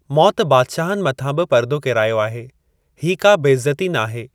मौत बादशाहनि मथां बि पर्दो केरायो आहे; हीअ का बेइज़्ज़्ती नाहे।